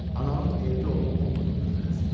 Anamın evdə olub-olmadığını öyrənsin.